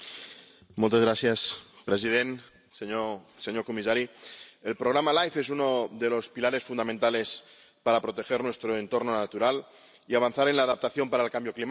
Señor presidente, señor comisario, el programa LIFE es uno de los pilares fundamentales para proteger nuestro entorno natural y avanzar en la adaptación para el cambio climático.